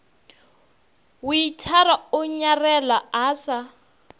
weithara o nyarela a sa